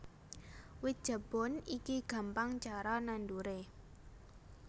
Wit Jabon iki gampang cara nanduré